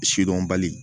Sidɔnbali